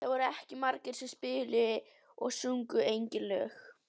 Það voru ekki margir sem spiluðu og sungu eigin lög.